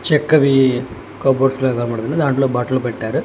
చెక్కవి cupboard కనబడుతుంది దాంట్లో బట్టలు పెట్టారు.